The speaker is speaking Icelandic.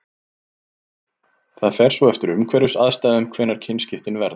Það fer svo eftir umhverfisaðstæðum hvenær kynskiptin verða.